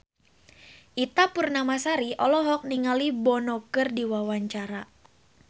Ita Purnamasari olohok ningali Bono keur diwawancara